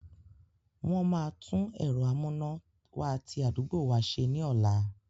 Wọ́n máa tún ẹ̀rọ amúnáwá ti àdúgbò wa se ní ọ̀la.